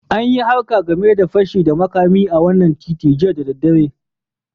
An yi harka game de fashi da makami a wanan titin jiya da dare.